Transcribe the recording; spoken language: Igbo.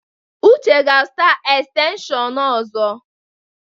Uche ga-azụta estenshịon ọzọ.